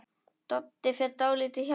Doddi fer dálítið hjá sér.